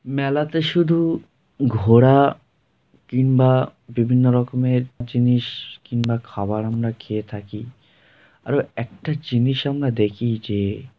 মেলাতে শুধু -উ ঘোরা কিংবা বিভিন্ন রকমের জিনিস কিংবা খাবার আমরা খেয়ে থাকি আরও একটা জিনিস আমরা দেখি যে--